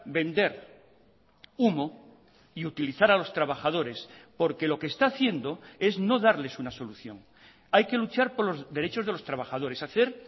vender humo y utilizar a los trabajadores porque lo que está haciendo es no darles una solución hay que luchar por los derechos de los trabajadores hacer